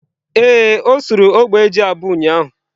Ee, o surụ ogbe ji abuọ ụyaahụ.